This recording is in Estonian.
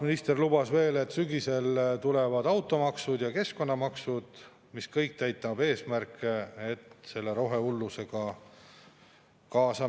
Nüüd, kui, siis kõige suurema löögi saavad tulumaksumuudatusega ikkagi keskmisest madalama sissetulekuga töötajad, kes peamiselt turismi ja põllumajanduses, see tähendab Tallinnast ja selle kuldsest ringist kaugemal.